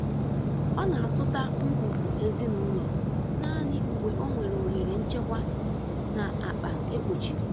Ọ na-azụta ngwugwu ezinụlọ naanị mgbe o nwere ohere nchekwa na akpa e kpochiri.